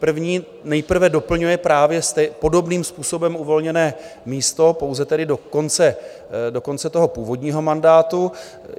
První nejprve doplňuje právě podobným způsobem uvolněné místo, pouze tedy do konce toho původního mandátu.